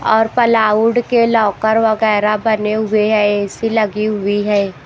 और पलाउड के लॉकर वगैरह बने हुए हैं ए_सी लगी हुई है।